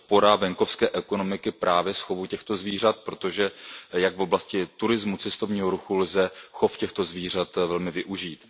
podpora venkovské ekonomiky právě z chovu těchto zvířat, protože jak v oblasti turismu, cestovního ruchu lze chov těchto zvířat velmi využít.